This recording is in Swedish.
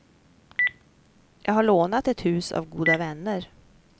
Jag har lånat ett hus av goda vänner.